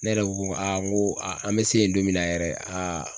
Ne yɛrɛ ko ko n ko an mi se yen don min na yɛrɛ